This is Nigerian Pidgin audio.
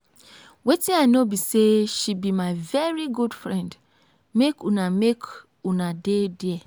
wetin i know be say she be my very good friend. make una make una dey there